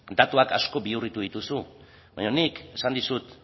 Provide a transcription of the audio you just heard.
datuak asko bihurritu dituzu baina nik esan dizut